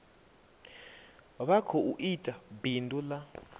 vha khou ita bindu ḽa